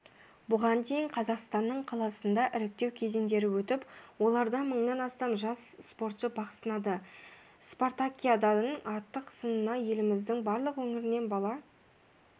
бұған дейін қазақстанның қаласында іріктеу кезеңдері өтіп оларда мыңнан астам жас спортшы бақ сынады спартакиаданың ақтық сынына еліміздің барлық өңірінен бала